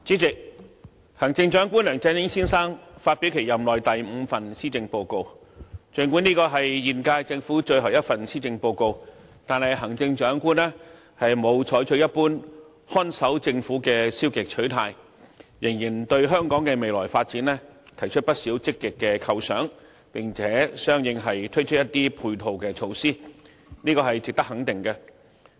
主席，行政長官梁振英先生發表其任內第五份施政報告，儘管這是現屆政府最後一份施政報告，但行政長官沒有採取一般看守政府的消極態度，仍然對香港的未來發展提出不少積極的構想，並相應地推出一些配套措施，這是值得肯定的。